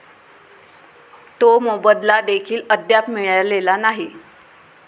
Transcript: तो मोबदला देखील अद्याप मिळालेला नाही.